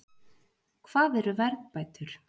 Hvað eru verðbætur?